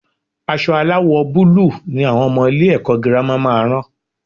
Aṣọ aláwò búlúù ni àwọn ọmọ ilé-ẹ̀kọ́ girama máa rán